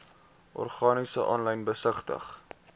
organisasies aanlyn besigtig